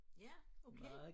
Ja okay